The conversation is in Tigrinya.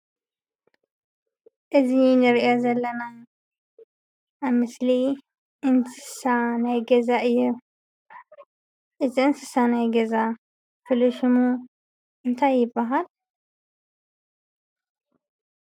እዚ እንሪኦ ዘለና ኣብ ምስሊ እንስሳ ናይ ገዛ እዮም። እዚ እንስሳ ናይ ገዛ ፍሉይ ሽሙ እንታይ ይብሃል?